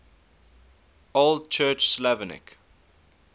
old church slavonic